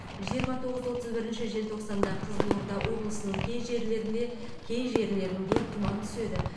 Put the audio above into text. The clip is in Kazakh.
жиырма тоғыз отыз бірінші желтоқсанда қызылорда облысының кей жерлерінде кей жерлерінде тұман түседі